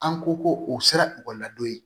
An ko ko o sera ekɔli la don ye